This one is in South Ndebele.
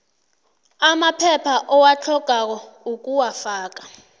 amaphepha owatlhogako ukuwafaka